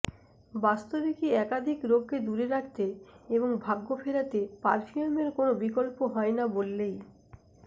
বাস্তবিকই একাধিক রোগকে দূরে রাখতে এবং ভাগ্য ফেরাতে পার্ফিউমের কোনও বিকল্প হয় না বললেই